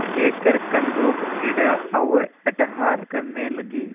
लेकर कंदुकक्रीड़ा और अट्टहास करने लगी